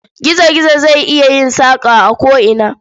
Gizo-gizo zai iya yin saƙa a ko'ina.